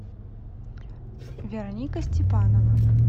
вероника степанова